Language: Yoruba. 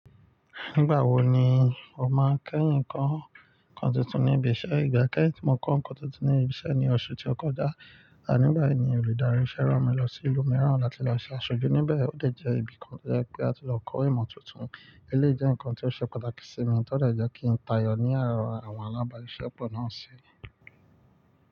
Nígbà wo ni o máa kẹ́yìn kọ́ nǹkan tuntun ní ibi iṣẹ́? Ìgbà kẹ́yìn tí mo kọ́ ǹkan tuntun ní ibi iṣẹ́ ni oṣù tí ó kọjá, ànígbà ní olùdarí iṣẹ́ rán mi lọ sí ìlú mìíràn láti lọ se àṣojú. Níbẹ̀ ó dè jẹ́ ibi kan tó jẹ́ pé a ti lọ kọ́ ìmọ̀ tuntun, eléyìí jẹ́ ǹkan tí ó ṣe pàtàkì sí mi, to de jẹ́ kí ń tayọ̀ ní àárin àwọn alábàáṣisepọ̀ náà.